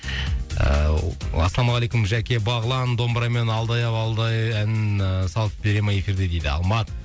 ыыы ассалаумағалейкум жәке бағлан домбырамен алдай ау алдай әнін ііі салып бере ме эфирде дейді алмат